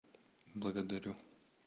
благодарю